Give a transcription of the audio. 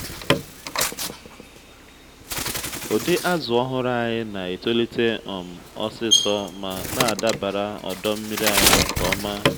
ụdị azù ọhụrụ anyị na-etolite um osisor ma na-adabara ọdọ nmiri anyị nke ọma.